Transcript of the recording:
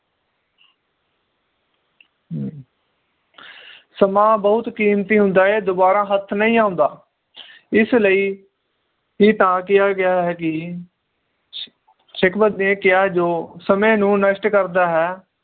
ਸਮਾਂ ਬਹੁਤ ਕੀਮਤੀ ਹੁੰਦਾ ਏ ਇਹ ਦੋਬਾਰਾ ਹੇਠ ਨਹੀਂ ਹੁੰਦਾ ਇਸ ਲਈ ਹੀ ਤਾਂ ਕੀਆ ਗਿਆ ਹੈ ਕਿ ਨੇ ਕਿਹਾ ਜੋ ਸਮੇ ਨੂੰ ਨਸ਼ਟ ਕਰਦਾ ਹੈ